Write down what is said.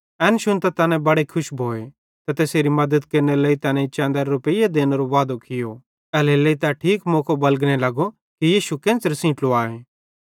एन शुन्तां तैना बड़े खुश भोए ते तैसेरे मद्दतरे लेइ तैनेईं चैंदेरे रुपेइये देनेरो वादो कियो एल्हेरेलेइ तै ठीक मौके बलगने लगो कि यीशु केन्च़रां सेइं ट्लुवाए